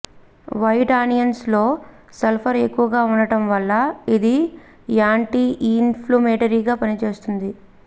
white onions లో sulphur ఎక్కువగా ఉండటం వల్ల ఇది యాంటీఇన్ఫ్లమేటరీగా పనిచేస్తుంది